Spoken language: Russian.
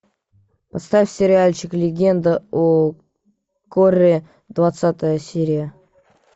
поставь сериальчик легенда о корре двадцатая серия